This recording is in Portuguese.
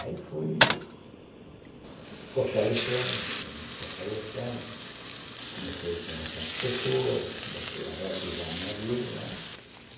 Aí fui fortalecendo me fortalecendo, comecei a conversar com pessoas, comecei a reativar a minha vida, né.